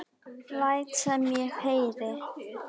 Læt sem ég heyri.